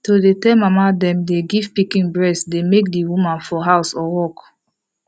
to dey tell mama them dey give pikin breast dey make the women for work or house